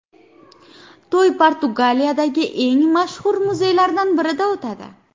To‘y Portugaliyadagi eng mashhur muzeylardan birida o‘tadi.